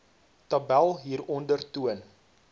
tabel hieronder toon